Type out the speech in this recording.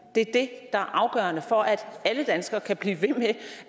det er det er afgørende for at alle danskere kan blive ved med